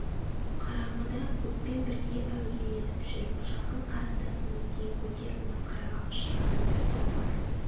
қараңғыда көппен бірге әуейленіп жүріп жақын қарындасының етегін көтеріп масқараға ұшырағандар да бар